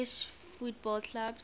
english football clubs